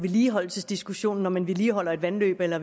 vedligeholdelsesdiskussionen om man vedligeholder et vandløb eller